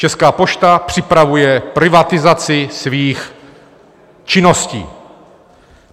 Česká pošta připravuje privatizaci svých činností.